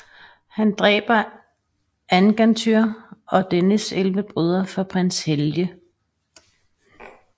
Han dræber Angantyr og dennes 11 brødre for prins Helge